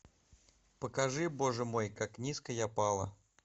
покажи боже мой как низко я пала